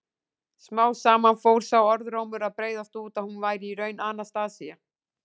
Smám saman fór sá orðrómur að breiðast út að hún væri í raun Anastasía.